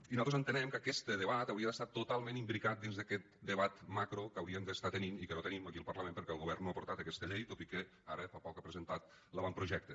i nosaltres entenem que aquest debat hauria d’estar totalment imbricat dins d’aquest debat macro que hauríem d’estar tenint i que no tenim aquí al parlament perquè el govern no ha portat aquesta llei tot i que ara fa poc ha presentat l’avantprojecte